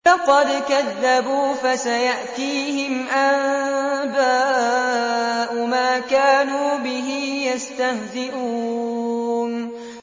فَقَدْ كَذَّبُوا فَسَيَأْتِيهِمْ أَنبَاءُ مَا كَانُوا بِهِ يَسْتَهْزِئُونَ